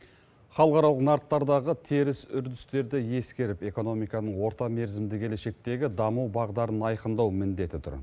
халықаралық нарықтардағы теріс үрдістерді ескеріп экономиканың орта мерзімді келешектегі даму бағдарын айқындау міндеті тұр